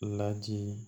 Ladi